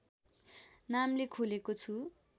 नामले खोलेको छु